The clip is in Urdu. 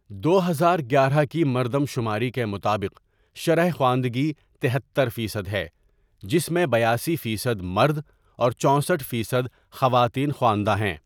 دو ہزار گیارہ کی مردم شماری کے مطابق شرح خواندگی تہتر فیصد ہے جس میں بیاسی فیصد مرد اور چوسٹھ فیصد خواتین خواندہ ہیں۔